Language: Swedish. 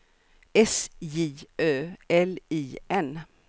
S J Ö L I N